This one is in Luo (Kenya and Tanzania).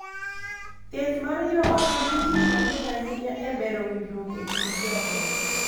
Thieth mar joot nigi tich maduong’ ahinya e bero winjruok e kind joot .